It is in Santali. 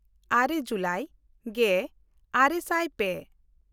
ᱟᱨᱮ ᱡᱩᱞᱟᱭ ᱜᱮᱼᱟᱨᱮ ᱥᱟᱭ ᱯᱮ